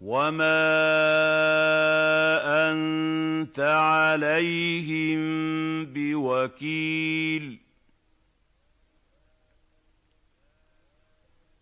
وَمَا أَنتَ عَلَيْهِم بِوَكِيلٍ